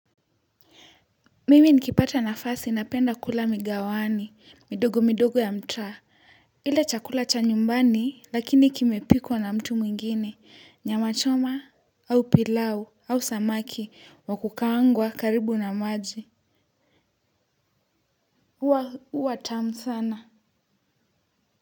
Mimi nikipata nafasi napenda kula migawani, midogo midogo ya mtaa. Ile chakula cha nyumbani, lakini kimepikwa na mtu mwingine, nyama choma au pilau au samaki wakukaangwa karibu na maji. Huwa, huwa tamu sana.